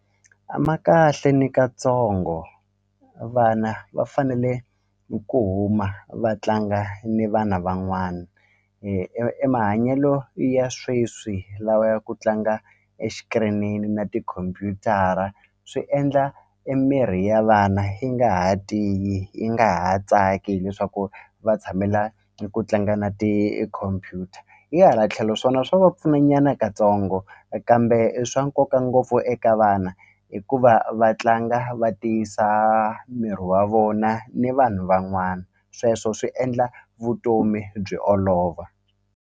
A ma kahle nikatsongo vana va fanele ku huma vatlanga ni vana van'wana emahanyelo ya sweswi lawa ya ku tlanga na tikhompyutara swi endla emirhi ya vana yi nga ha tiyi yi nga ha tsaki hileswaku va tshamela eku tlanga na tikhompyuta hi hala tlhelo swona swa va pfuna na nyana katsongo e kambe i swa nkoka ngopfu eka vana hikuva va tlanga va tiyisa miri wa vona ni vanhu van'wana sweswo swi endla vutomi byi olova.